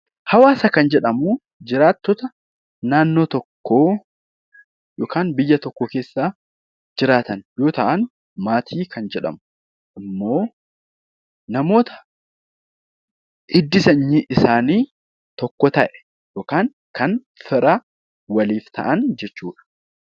Hawaasa kan jedhamu jiraattota naannoo tokkoo yookaan biyya tokko keessaa jiraatan yoo ta'an; Maatii kan jedhamu immoo namoota hiddi sanyii isaanii tokko ta'e yookaan kan fira waliif ta'an jechuu dha.